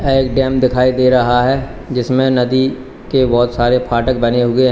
एक डैम दिखाई दे रहा है जिसमें नदी के बहुत सारे फाटक बने हुए हैं।